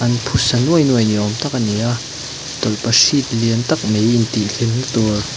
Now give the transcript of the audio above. an phusa nuai nuai ni awm tak a ni a tawlhpahrit lian tak mai intih hlimna tur--